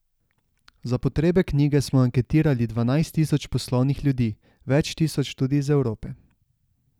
Za potrebe knjige smo anketirali dvanajst tisoč poslovnih ljudi, več tisoč tudi iz Evrope.